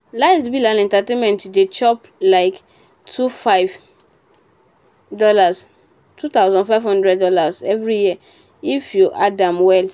light bill and entertainment dey chop like two five dollars two thousand five hundred dollars every year if you add am well.